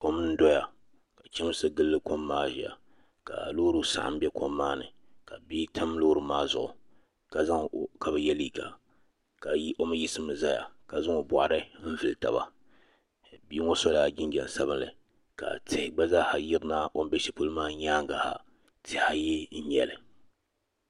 kom n doya. ka chamsi gili kom maa doya. ka loori saɣim be kom maa ni ka bia tam loori maa zuɣu ka be ye liiga. o mi yiɣisimi ʒɛya ja zaŋ o boɣari vili taba. Bia ŋo so la jinjam sabinli ka tihi gba zaa sa yirina o be shelipolo maa nyaaŋa. Tihi ayi n nyela